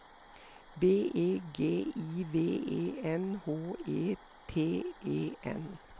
B E G I V E N H E T E N